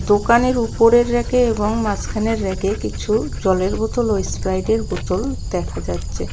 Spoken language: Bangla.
দোকানের উপরের রেকে এবং মাঝখানের রেকে কিছু জলের বোতল ও এসপ্রাইটের বোতল দেখা যাচ্ছে.